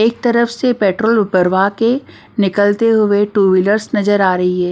एक तरफ से पेट्रोल भरवा के निकलते हुए टू व्हीलर्स नजर आ रही है।